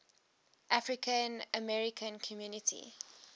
african american community